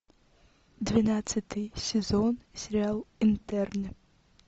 двенадцатый сезон сериал интерны